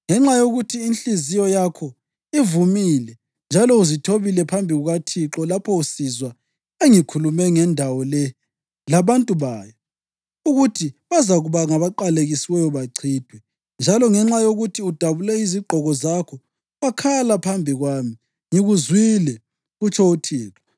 Ngenxa yokuthi inhliziyo yakho ivumile njalo uzithobile phambi kukaThixo lapho usizwa engikukhulume ngendawo le labantu bayo, ukuthi bazakuba ngabaqalekisiweyo bachithwe, njalo ngenxa yokuthi udabule izigqoko zakho wakhala phambi kwami, ngikuzwile, kutsho uThixo.